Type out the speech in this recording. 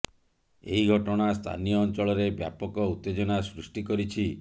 ଏହି ଘଟଣା ସ୍ଥାନୀୟ ଅଞ୍ଚଳରେ ବ୍ୟାପକ ଉତ୍ତେଜନା ସୃଷ୍ଟି କରିଛି